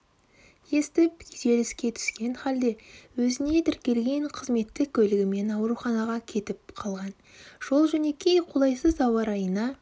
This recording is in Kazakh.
естіп күйзеліскен түскен халде өзіне тіркелген қызметтік көлігімен ауруханаға кетіп қалған жол-жөнекей қолайсыз ауа райына